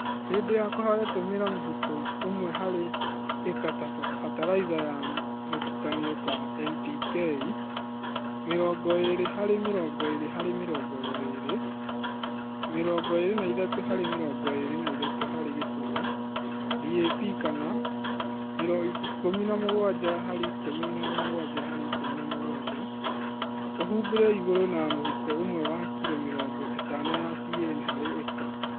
Hĩndĩ ya kũhanda tũmĩra mũhũko ũmwe harĩ ĩka fatalaitha ya mũtukanio ta NPK(20:20:20,23:23;0),DAP kana 17:17:17) Ũhumbire igũrũ na mũhuko umwe wa kilo mirongo ĩtano ya CAN harĩ ĩka